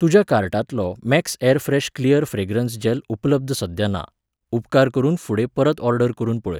तुज्या कार्टांतलो max airfresh clear fragrance gel उपलब्ध सध्या ना, उपकार करून फुडें परत ऑर्डर करून पळय.